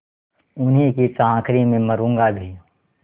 उन्हीं की चाकरी में मरुँगा भी